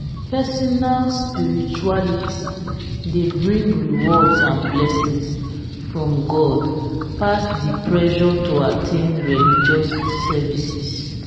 personal spirituality dey bring rewards and blessings from God pass de pressure to at ten d religious services